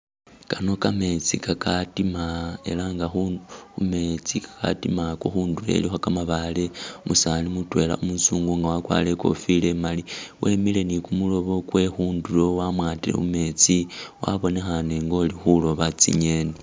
Kano kametsi kakatima ela nga khu khumetsi katima ako khundulo ilikho kamabaale umusaani mutwela umusungu nga wakwarire i'kofila e'mali wemile ni kumuloobo kwe khundulo wamwatile mumetsi wabonekhane ngolikhulooba tsi'ngeni